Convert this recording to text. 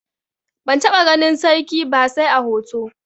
Ban taɓa ganin sarki ba sai a hoto.